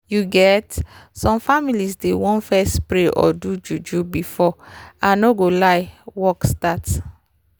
you get some families dey want fess pray or do juju before i no go lie work start